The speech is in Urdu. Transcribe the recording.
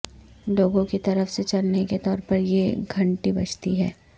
لوگوں کی طرف سے چلنے کے طور پر یہ گھنٹی بجتی ہے